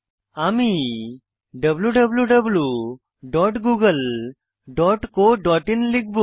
আমি wwwgooglecoin লিখব